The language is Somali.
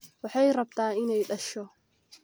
Wahey rabtaa ineey dhasho?